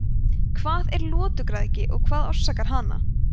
hvað er lotugræðgi og hvað orsakar hana